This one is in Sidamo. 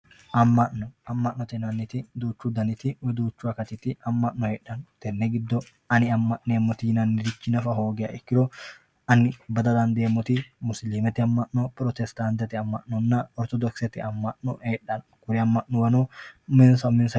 Ama'no, ama'note yineemoti duuchu dabiti woyi duuchu akatiti heedhano tene gido ani ama'neemo yinanirichi nafa hoogiro, ani bada dandeemoti musilimete ama'no, protesitantete ama'no, oritodokisete ama'no heedhano kuri ama'nuwano uminsa uminsa